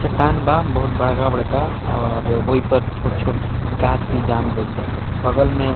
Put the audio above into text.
चट्टान बा बहुत बड़का-बड़का और ओइ पर छोट-छोट गाछ भी जाम गइल बाटे बगल में --